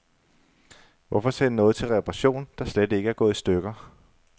Hvorfor sende noget til reparation, der slet ikke er gået i stykker.